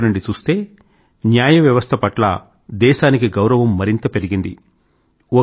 మరో వైపు నుండి చూస్తే న్యాయ వ్యవస్థ పట్ల దేశానికి గౌరవం మరింత పెరిగింది